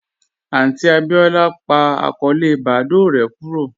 Aunti Abíọlá n pa akọọlẹ Badoo rè kúrò